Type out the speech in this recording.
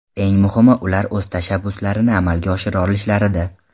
Eng muhimi ular o‘z tashabbuslarini amalga oshira olishlarida.